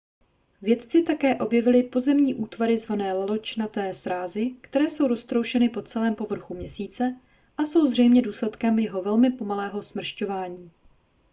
vědci také objevili pozemní útvary zvané laločnaté srázy které jsou roztroušeny po celém povrchu měsíce a jsou zřejmě důsledkem jeho velmi pomalého smršťování